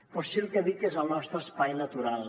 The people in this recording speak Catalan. però sí el que dic que és el nostre espai natural